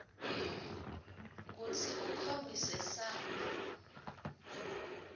kutsi ukhombise samba